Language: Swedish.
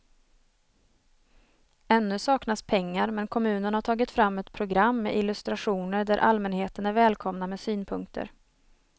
Ännu saknas pengar men kommunen har tagit fram ett program med illustrationer där allmänheten är välkomna med synpunkter.